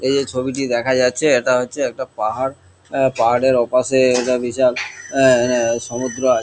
এই যে ছবিটি দেখা যাচ্ছে এটা হচ্ছে একটা পাহাড় অ্যা পাহাড়ের ওপাশে একটা বিশাল এঁ হ্যাঁ সমুদ্র আ--